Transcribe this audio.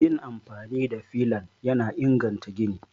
Yin amfani da filan yana inganta gini